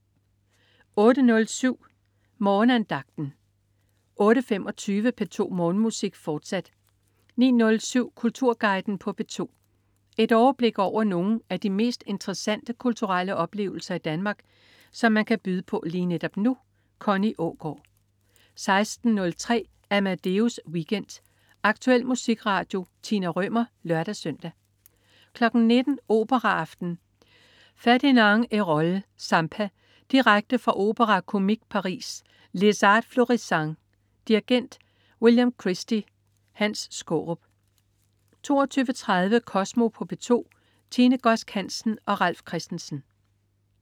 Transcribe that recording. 08.07 Morgenandagten 08.25 P2 Morgenmusik, fortsat 09.07 Kulturguiden på P2. Et overblik over nogle af de mest interessante kulturelle oplevelser Danmark kan byde på netop nu. Connie Aagaard 16.03 Amadeus Weekend. Aktuel musikradio. Tina Rømer (lør-søn) 19.00 Operaaften. Ferdinand Hérold: Zampa. Direkte fra Opéra-Comique, Paris. Les Arts Florissants. Dirigent: William Christie. Hans Skaarup 22.30 Kosmo på P2. Tine Godsk Hansen og Ralf Christensen